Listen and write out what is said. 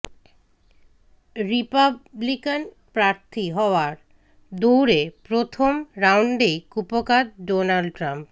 Republican প্রার্থী হওয়ার দৌ়ড়ে প্রথম রাউন্ডেই কুপোকাত ডোনাল্ড ট্রাম্প